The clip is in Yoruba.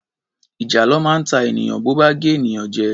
Ìjàlọ máa ń ta ènìyàn bo bá gé ènìyàn jẹ.